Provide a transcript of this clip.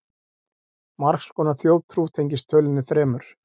margs konar þjóðtrú tengist tölunni þremur